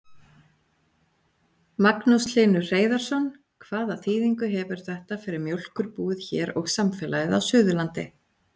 Magnús Hlynur Hreiðarsson: Hvaða þýðingu hefur þetta fyrir mjólkurbúið hér og samfélagið á Suðurlandi?